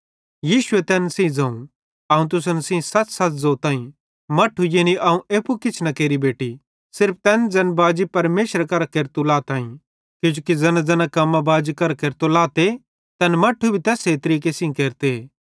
यीशुए तैन सेइं ज़ोवं अवं तुसन सेइं सच़सच़ ज़ोताईं मट्ठू यानी अवं एप्पू किछ न केरि बेटि सिर्फ तैन ज़ैन बाजी परमेशरे करां केरतू लाताईं किजोकि ज़ैनाज़ैना कम्मां बाजी करां केरतो लाते तैन मट्ठू भी तैस्से तरीके सेइं केरते